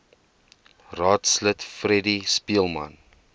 raadslid freddie speelman